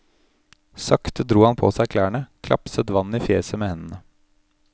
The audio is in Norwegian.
Sakte dro han på seg klærne, klapset vann i fjeset med hendene.